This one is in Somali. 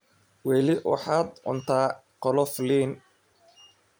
Weli waxaad cuntaa qolof liin.